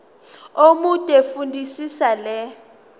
omude fundisisa le